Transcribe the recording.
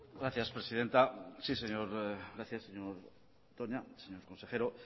gracias presidenta gracias señor toña señor consejero